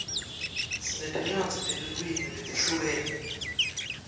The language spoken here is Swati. sinetincwadzi tetilwimi letihlukene